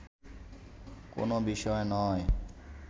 কোনও বিষয় নয়